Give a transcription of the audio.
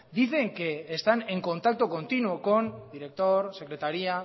dicen que están en contacto continuo con director secretaría